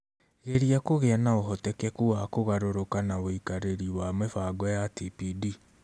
Geria kũgĩa na ũhotekeku wa kũgarũrũka na ũikarĩri wa mĩbango ya TPD